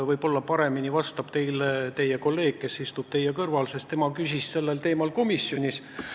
Võib-olla oskab teile paremini vastata kolleeg, kes istub teie kõrval, sest tema küsis selle teema kohta komisjonis.